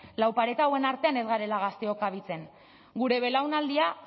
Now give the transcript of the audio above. lau pareta hauen artean ez garela gazteok kabitzen gure belaunaldiak